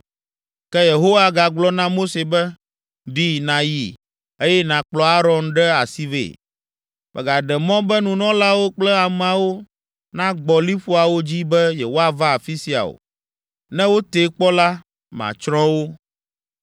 Ke Yehowa gagblɔ na Mose be, “Ɖi nàyi, eye nàkplɔ Aron ɖe asi vɛ. Mègaɖe mɔ be nunɔlawo kple ameawo nagbɔ liƒoawo dzi be yewoava afi sia o. Ne wotee kpɔ la, matsrɔ̃ wo.”